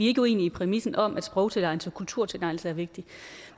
ikke uenige i præmissen om at sprogtilegnelse og kulturtilegnelse er vigtigt